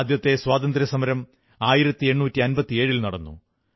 ആദ്യത്തെ സ്വാതന്ത്ര്യസമരം 1857ൽ നടന്നു